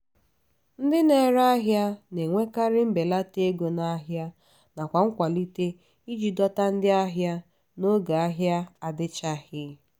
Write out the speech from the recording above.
ndị na-ere ahịa na-enyekarị mbelata ego n'ahia nakwa nkwalite iji dọta ndị ahịa n'oge ahia adichaghi.